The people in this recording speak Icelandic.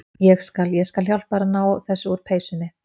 Ég skal. ég skal hjálpa þér að ná þessu úr peysunni.